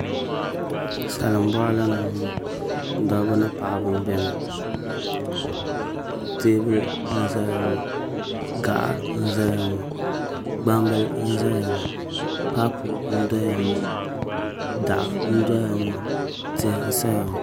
Salin boɣali ni n boŋo dabba ni paɣaba n biɛni teebuli n ʒɛya ŋo gaɣa n ʒɛya ŋo gbambili n ʒɛya ŋi paapu n doya ŋo daɣu n doya ŋo tihi n saya ŋo